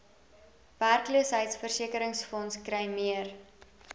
werkloosheidsversekeringsfonds kry meer